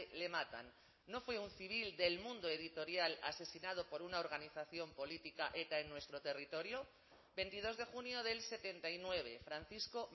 le matan no fue un civil del mundo editorial asesinado por una organización política eta en nuestro territorio veintidos de junio del setenta y nueve francisco